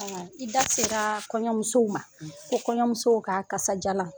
Ɔn i da sela kɔɲɔmusow ma, ko kɔɲɔmusow ka kasaajalan